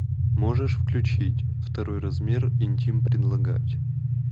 можешь включить второй размер интим предлагать